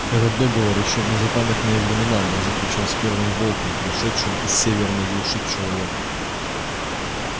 этот договор ещё в незапамятные времена был заключён с первым волком пришедшим из северной глуши к человеку